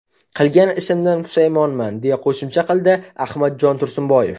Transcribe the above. Qilgan ishimdan pushaymonman”, deya qo‘shimcha qildi Ahmadjon Tursunboyev.